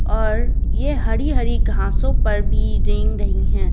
और यह हरी-हरी घासों पर भी रेंग रही हैं ।